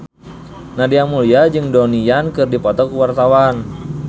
Nadia Mulya jeung Donnie Yan keur dipoto ku wartawan